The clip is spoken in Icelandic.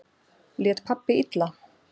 Lét pabbi illa?